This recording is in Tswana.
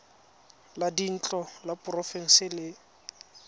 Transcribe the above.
la dintlo la porofense le